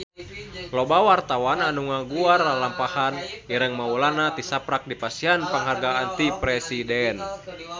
Loba wartawan anu ngaguar lalampahan Ireng Maulana tisaprak dipasihan panghargaan ti Presiden